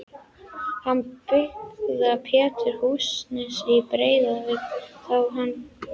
Hann byggði Pétri Húsanes í Breiðuvík þá hann kvæntist.